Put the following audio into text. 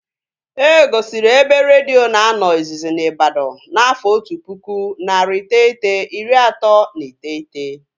E gosiri ebe redio na-anọ izizi na Ibadan n'afọ otu pụkụ, narị iteghete, iri atọ na iteghete